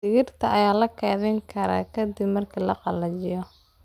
Digirta ayaa la keydin karaa ka dib marka la qalajiyo.